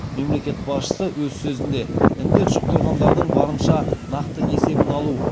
мемлекет басшысы өз сөзінде індет жұқтырғандардың барынша нақты есебін алу